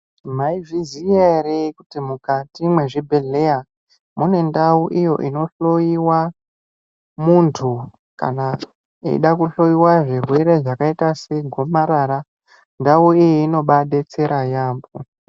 Maizviziya ere kuti mukati mwezvibhedhleya mune ndau iyo inohloyiwa munthu kana eida kuhloyiwa zvirwere zvakaita segomarara ndau iyoyo inobadetsera yaambo .